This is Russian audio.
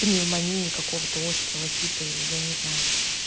пневмонии какого-то острова типа или я не знаю